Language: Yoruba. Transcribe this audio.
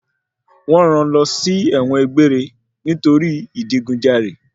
Wọ́n rán lọ sí ẹ̀wọ̀n gbéére nítorí ìdigunjalè.